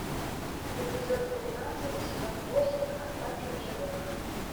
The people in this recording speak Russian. эпизод тринадцать сезон восемь остаться в живых